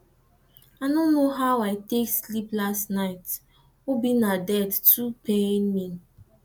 i no know how i take sleep last night obinna death too pain me